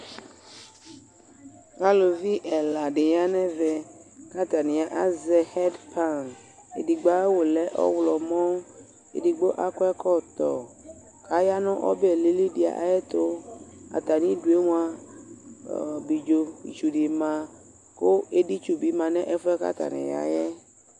Elivi ɛla dɩnɩ ya nʋ ɛvɛ, kʋ atani azɛ ɛptan Edigbo ayʋ aɣu lɛ ɔɣlɔmɔ, edigbo akɔ ɛkɔtɔ Aya nʋ ɔbɛ lili dɩ ayʋ ɛtʋ Atami idu yɛ mʋa aidzo tsu dɩ ma, kʋ editsu bɩ nʋ ɛfʋɛ buaku atani ya yɛ